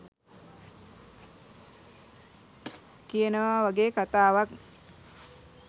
කියනවා වගේ කතාවක්.